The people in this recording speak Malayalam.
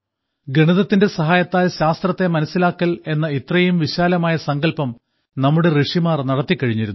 ഗണിതത്തിന്റെ സഹായത്താൽ ശാസ്ത്രത്തെ മനസ്സിലാക്കൽ എന്ന ഇത്രയും വിശാലമായ സങ്കല്പം നമ്മുടെ ഋഷിമാർ നടത്തിക്കഴിഞ്ഞിരുന്നു